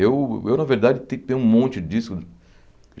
Eu eu, na verdade, tenho que ter um monte de discos.